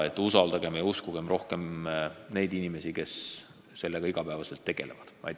Ning usaldagem ja uskugem rohkem neid inimesi, kes sellega iga päev tegelevad!